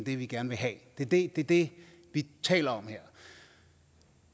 det vi gerne vil have det det er det vi taler om her